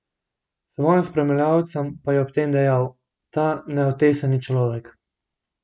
Svojim spremljevalcem pa je ob tem dejal: 'Ta neotesani človek.